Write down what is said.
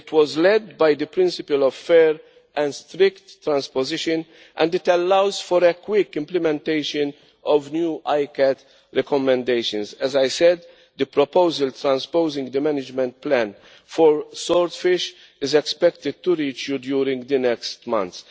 It was led by the principle of fair and strict transpositions and it allows for quick implementation of new ICCAT recommendations. As I said, the proposal transposing the management plan for swordfish is expected to reach you during the next months.